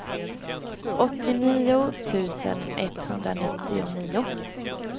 åttionio tusen etthundranittionio